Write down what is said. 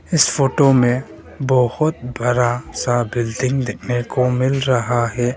इस फोटो में बहोत बड़ा सा बिल्डिंग देखने को मिल रहा है।